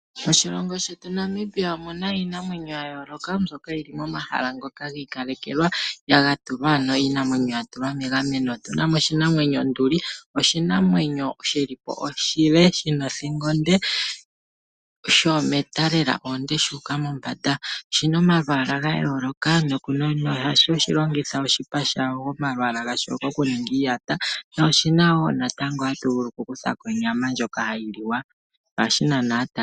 Moshilongo shetu Namibia omu na iinamwenyo ya yooloka mbyoka yili momahala ngoka giikalekelwa, iinamwenyo ya tulwa ano megameno. Otu na mo oshinamwenyo onduli, oshinamwenyo shili po oshile, shi na othingo onde, shoometa lela oonde shuuka mombanda. Oshi na omalwaala ga yooloka nohatu shi longitha oshipa sha sho, omalwaala ga sho okuninga iiyata noshi na wo natango hatu vulu okukutha ko onyama ndjoka hayi li wa. Ohashi nana aataleli po.